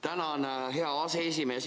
Tänan, hea aseesimees!